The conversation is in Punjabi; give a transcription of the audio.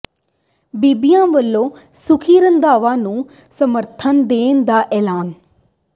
ਬੀਬੀਆਂ ਵੱਲੋਂ ਸੁੱਖੀ ਰੰਧਾਵਾ ਨੂੰ ਸਮਰਥਨ ਦੇਣ ਦਾ ਐਲਾਨ